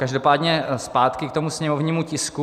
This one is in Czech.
Každopádně zpátky k tomu sněmovnímu tisku.